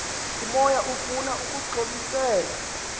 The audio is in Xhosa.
umoya ufuna ukuxhobisela